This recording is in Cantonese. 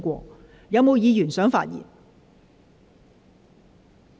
是否有議員想發言？